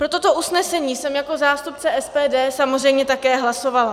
Pro toto usnesení jsem jako zástupce SPD samozřejmě také hlasovala.